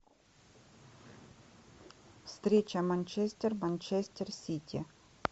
встреча манчестер манчестер сити